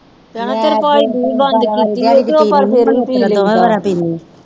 ਚਾਹ ਤੇਰੇ ਭਾਜੀ ਦੀ ਵੀ ਬੰਦ ਕੀਤੀ ਓ ਤੇ ਉਹ ਪਰ ਫਿਰ ਵੀ ਪੀ ਲੈਂਦਾ ਵਾ